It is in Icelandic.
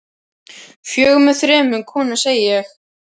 Fjögur með þremur konum, segi ég.